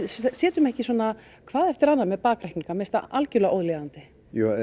sitjum ekki svona hvað eftir annað með bakreikninga mér finnst það algerlega ólíðandi